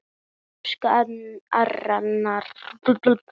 Elsku Arnar Dór.